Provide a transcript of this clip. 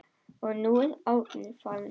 Og nú er Árni farinn.